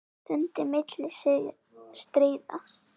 Stund milli stríða.